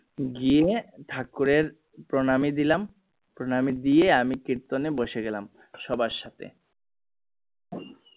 গিয়ে ঠাকুরের প্রণামী দিলাম প্রণামী দিয়ে আমি কীর্তনে বসে গেলাম সবার সাথে